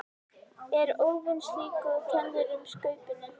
Er óvön slíku og kennir um Skaupinu.